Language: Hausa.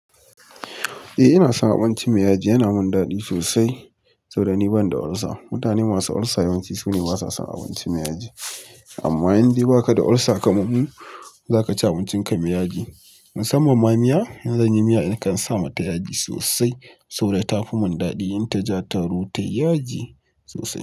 Eh, ina son abinci mai yaji. Yana min daɗi sosai, saboda ni ban da ulcer. Mutane masu ulcer yawanci su ne ba sa son abinci mai yaji. Amma in dai baka da ulcer, kaman mu zaka ci abincinka mai yaji. Musamman ma miya. In zan yi miya, nakan sa mata yaji sosai saboda ta fi mun daɗi in taji attaruhu. Ta yi yaji sosai.